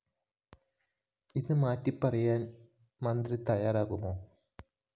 ഇത് മാറ്റിപ്പറയാന്‍ മന്ത്രി തയ്യാറാകുമോ